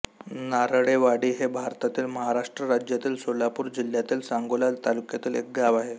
नारळेवाडी हे भारतातील महाराष्ट्र राज्यातील सोलापूर जिल्ह्यातील सांगोला तालुक्यातील एक गाव आहे